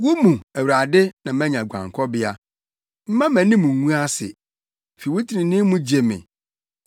Wo mu, Awurade na manya guankɔbea; mma mʼanim ngu ase; fi wo trenee mu gye me.